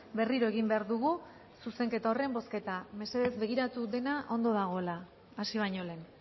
berriro egin behar dugu zuzenketa horren bozketa mesedez begiratu dena ondo dagoela hasi baino lehen